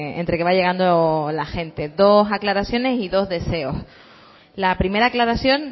entre que va llegando la gente dos aclaraciones y dos deseos la primera aclaración